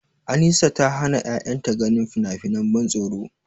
Anisa ta hana ƴaƴanta ganin finafinan ban tsoro.